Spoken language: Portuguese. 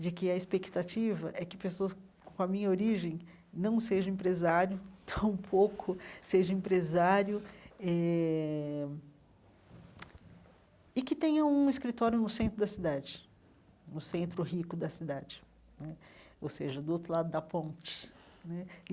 de que a expectativa é que pessoas com a minha origem não sejam empresário, tampouco sejam empresário eh, e que tenham um escritório no centro da cidade, no centro rico da cidade né, ou seja, do outro lado da ponte né.